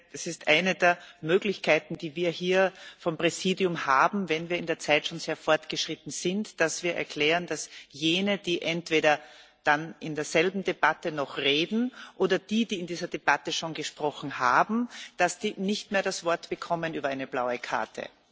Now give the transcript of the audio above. Das ist eine der Möglichkeiten, die wir hier vom Präsidium haben, wenn wir in der Zeit schon sehr fortgeschritten sind, dass wir erklären, dass jene, die entweder dann in derselben Debatte noch reden, oder die, die in der Debatte schon gesprochen haben, nicht mehr das Wort bekommen über eine blaue Karte.